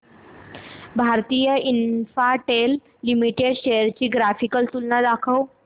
Bharti Infratel limited shares ची graphical तुलना दाखव